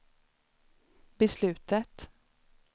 beslutet